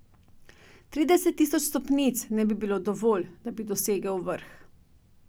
Trideset tisoč stopnic ne bi bilo dovolj, da bi dosegel vrh!